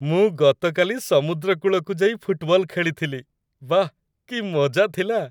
ମୁଁ ଗତକାଲି ସମୁଦ୍ରକୂଳକୁ ଯାଇ ଫୁଟବଲ ଖେଳିଥିଲି । ବାଃ କି ମଜା ଥିଲା!